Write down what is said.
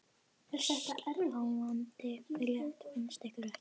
Sláandi frétt finnst ykkur ekki?